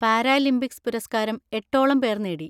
Paralympics പുരസ്‌കാരം എട്ടോളം പേർ നേടി.